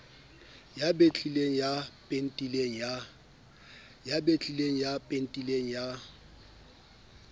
ya betlileng ya pentileng ya